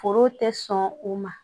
Foro tɛ sɔn u ma